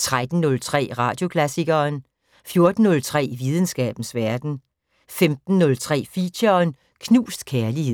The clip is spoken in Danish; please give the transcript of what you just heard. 13:03: Radioklassikeren 14:03: Videnskabens Verden 15:03: Feature: Knust kærlighed